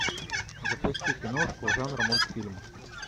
запусти киношку жанра мультфильм